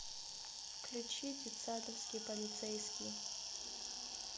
включи детсадовский полицейский